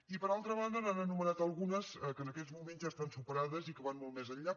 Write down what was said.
i per altra banda n’han anomenat algunes que en aquests moments ja estan superades i que van molt més enllà